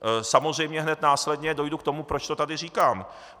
Samozřejmě hned následně dojdu k tomu, proč to tady říkám.